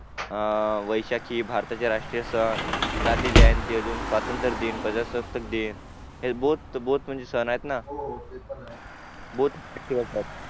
अं वैशाखी भारताचे राष्ट्रीय सण गांधीजयंती अजून स्वातंत्रदिन अजून प्रजासत्ताकदिन हे BOTH सण आहेत ना